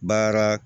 Baara